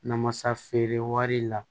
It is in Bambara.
Namasa feere wari la